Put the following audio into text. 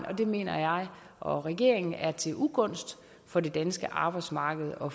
og det mener jeg og regeringen er til ugunst for det danske arbejdsmarked og